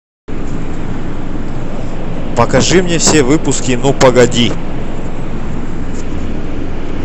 покажи мне все выпуски ну погоди